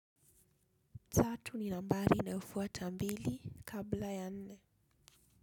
Tatu ni nambari inayofuata mbili kabla ya nne.